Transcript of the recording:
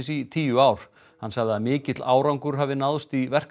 í tíu ár hann sagði að mikill árangur hefði náðst í